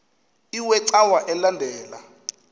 iwe cawa elandela